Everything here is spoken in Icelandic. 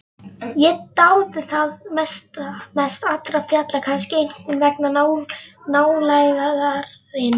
Ég dáði það mest allra fjalla, kannski einkum vegna nálægðarinnar.